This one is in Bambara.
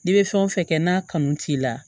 N'i bɛ fɛn o fɛn kɛ n'a kanu t'i la